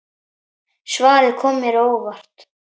Svarið kom mér á óvart.